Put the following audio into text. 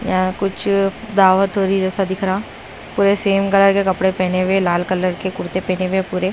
यहां कुछ दावत हो रही जैसा दिख रहा पूरे सेम कलर के कपड़े पहने हुए लाल कलर के कुर्ते पहने हुए पूरे--